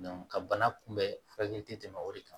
ka bana kunbɛn furakɛli tɛmɛ o de kan